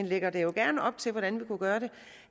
lægger det gerne op til hvordan vi kunne gøre det